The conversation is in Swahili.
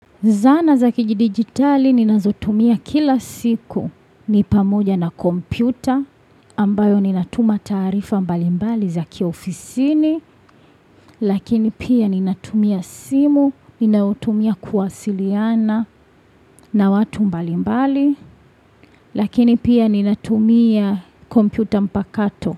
Zana za kijidigitali ninazotumia kila siku ni pamoja na kompyuta ambayo ninatuma taarifa mbalimbali za kiofisini lakini pia ninatumia simu ninaotumia kuwasiliana na watu mbalimbali lakini pia ninatumia kompyuta mpakato.